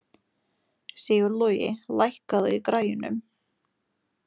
Sigurlogi, lækkaðu í græjunum.